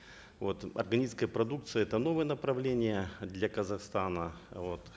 вот органическая продукция это новое направление для казахстана вот